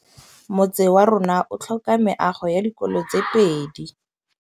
Motse warona o tlhoka meago ya dikolô tse pedi.